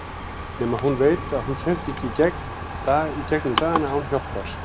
Nema hún veit að hún kemst ekki í gegnum dagana án hjálpar.